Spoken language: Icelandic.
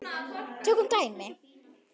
Tökum dæmi: